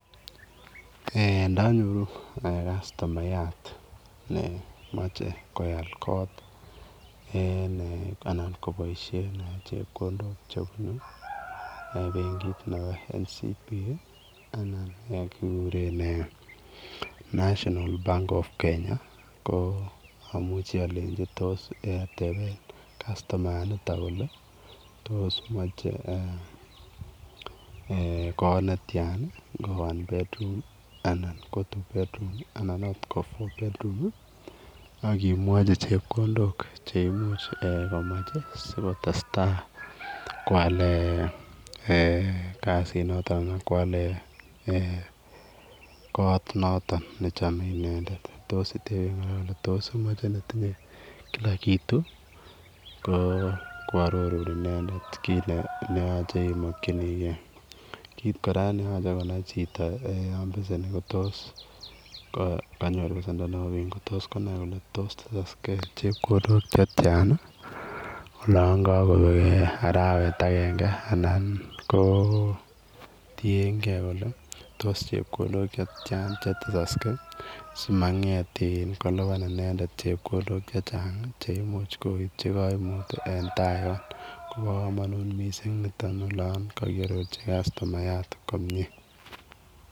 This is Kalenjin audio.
Eng ndanyoruu customayat nemachei koyaal koot eng ene anan kobaisheen chepkondook chebunuu benkiit nebo [national Bank of kenya] ii anan eeh kiguren [national bank of Kenya] ko amuchei alenjii tos tebeen customayaat nitoon kole tos machei koot netyaan ii ngo [one bedroom] anan ko [two bedroom] anan akoot ko [four bedrooms] akimwachi chepkondook cheimuuch sikotestai koyaleen eeh kasiit notoon notoon ak koyaleen notoon ne chamee inendet tos iteeb kole tinye kila kitu ii ko koaroruun kit neyachei imakyinigei kit kora ne yachei konai chitoo yaan beseni ko tos konai kole tos kobiit chepkondook olaan kakobeek araweet agenge anan ko tienkei kole tos chepkondook che tyaan che tesaksei simangeet iin kolupaan inendet chepkondook che chaang cheimuuch koipchii kaimut en taa Yoon kobaa kamanuut Missing olaan kagiyajii customayat komyei.